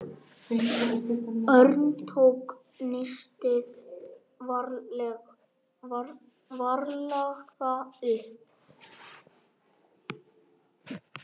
Örn tók nistið varlega upp.